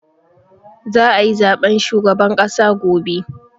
Za a yi zaben shugaban ƙasa gobe.